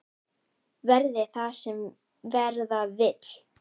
Verði það sem verða vill!